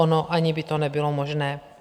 Ono ani by to nebylo možné.